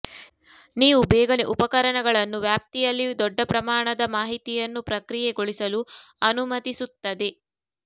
ನೀವು ಬೇಗನೆ ಉಪಕರಣಗಳನ್ನು ವ್ಯಾಪ್ತಿಯಲ್ಲಿ ದೊಡ್ಡ ಪ್ರಮಾಣದ ಮಾಹಿತಿಯನ್ನು ಪ್ರಕ್ರಿಯೆಗೊಳಿಸಲು ಅನುಮತಿಸುತ್ತದೆ